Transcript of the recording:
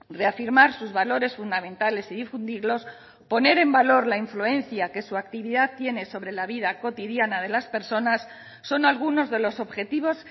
reafirmar sus valores fundamentales y difundirlos poner en valor la influencia que su actividad tiene sobre la vida cotidiana de las personas son algunos de los objetivos